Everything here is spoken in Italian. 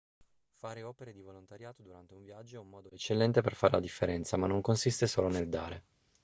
fare opere di volontariato durante un viaggio è un modo eccellente per fare la differenza ma non consiste solo nel dare